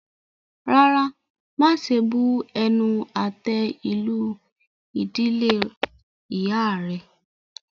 Rárá, máṣe bu-ẹnu-àtẹ́-lu ìdílé ìyá rẹ.